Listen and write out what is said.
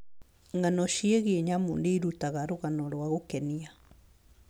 Ng'ano ciĩgiĩ nyamũ nĩ irutaga rũgano rwa gũkenia.